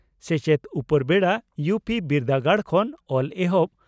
ᱥᱮᱪᱮᱫ ᱺ ᱩᱯᱮᱨᱵᱮᱰᱟ ᱭᱩᱹᱯᱤᱹ ᱵᱤᱨᱫᱟᱹᱜᱟᱲ ᱠᱷᱚᱱ ᱚᱞ ᱮᱦᱚᱵ